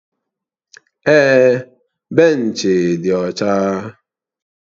Èè, benchi dị ọcha